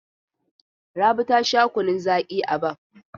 Rabi ta sha kunnun zaƙi a Baff.